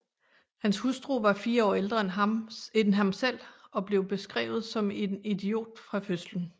Hans hustru var fire år ældre end ham selv og blev beskrevet som en idiot fra fødslen